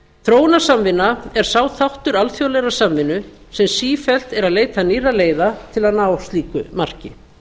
þróunarsamvinna er sá þáttur alþjóðlegrar samvinnu sem sífellt er að leita nýrra leiða til að ná slíku marki